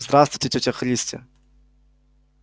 здравствуйте тётя христя